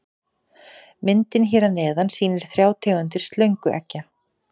Myndin hér að neðan sýnir þrjár tegundir slöngueggja.